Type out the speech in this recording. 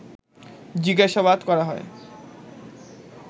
জিজ্ঞাসাবাদ করা হয়